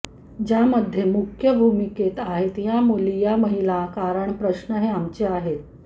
ज्यामध्ये मुख्य भूमिकेत आहे या मुली या महिला कारण प्रश्न हे आमचे आहेत